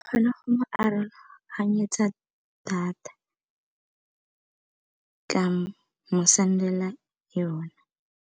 Kgona go mo aroganyetsa data ka mo send-ela yona.